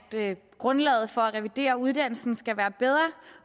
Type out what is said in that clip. grundlaget for at revidere uddannelsen skal være bedre